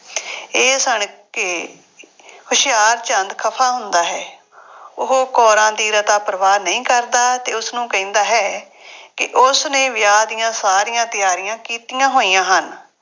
ਇਹ ਸੁਣ ਕੇ ਹੁਸ਼ਿਆਰਚੰਦ ਖਫਾ ਹੁੰਦਾ ਹੇ। ਉਹ ਕੌਰਾਂ ਦੀ ਰਤਾ ਪਰਵਾਹ ਨਹੀਂ ਕਰਦਾ ਅਤੇ ਉਸਨੂੰ ਕਹਿੰਦਾ ਹੈ ਕਿ ਉਸਨੇ ਵਿਆਹ ਦੀਆਂ ਸਾਰੀਆਂ ਤਿਆਰੀਆਂ ਕੀਤੀਆ ਹੋਈਆ ਹਨ